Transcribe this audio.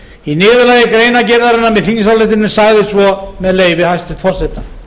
í niðurlagi greinargerðarinnar með þingsályktuninni sagði svo með leyfi hæstvirts forseta